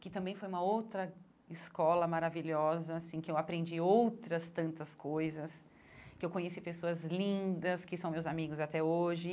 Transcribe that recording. que também foi uma outra escola maravilhosa, assim que eu aprendi outras tantas coisas, que eu conheci pessoas lindas, que são meus amigos até hoje.